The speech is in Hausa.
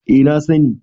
eh na sani